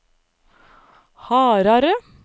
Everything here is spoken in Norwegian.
Harare